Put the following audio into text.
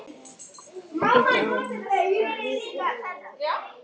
Á vit álfa.